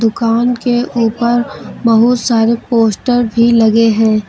दुकान के ऊपर बहुत सारे पोस्टर भी लगे हैं।